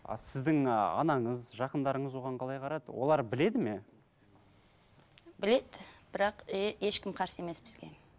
а сіздің ы анаңыз жақындарыңыз оған қалай қарады олар біледі ме біледі бірақ ешкім қарсы емес бізге